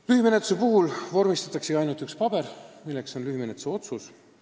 Lühimenetluse puhul vormistatakse ainult üks paber, milleks on lühimenetluse otsus.